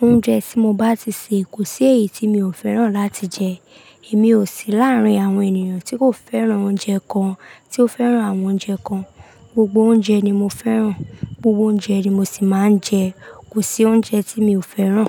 Oúnjẹ tí mo bá ti sè, kò sí èyí tí mi ò fẹ́ràn láti jẹ. Èmi ò sí láàárín àwọn ènìyàn tí kò fẹ́ràn oúnjẹ kan, tí ó fẹ́ràn àwọn oúnjẹ kan. Gbogbo oúnjẹ ni mo fẹ́ràn, gbogbo oúnjẹ ni mo sì máa ń jẹ. Kò sí oúnjẹ tí mi ò fẹ́ràn.